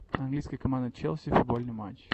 английская команда челси футбольный матч